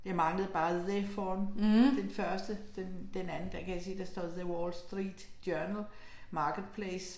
Jeg manglede bare the foran den første, den den anden, der kan jeg sige, der står The Wall Street Journal Marketplace